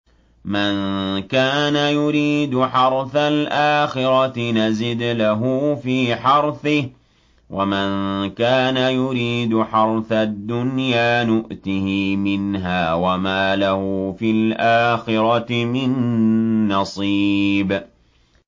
مَن كَانَ يُرِيدُ حَرْثَ الْآخِرَةِ نَزِدْ لَهُ فِي حَرْثِهِ ۖ وَمَن كَانَ يُرِيدُ حَرْثَ الدُّنْيَا نُؤْتِهِ مِنْهَا وَمَا لَهُ فِي الْآخِرَةِ مِن نَّصِيبٍ